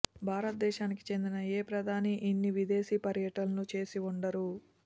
భారతదేశానికి చెందిన ఏ ప్రధాని ఇన్ని విదేశీ పర్యటనలు చేసి ఉండరు